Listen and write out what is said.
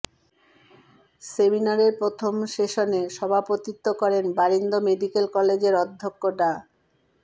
সেমিনারের প্রথম সেশনে সভাপতিত্ব করেন বারিন্দ মেডিকেল কলেজের অধ্যক্ষ ডা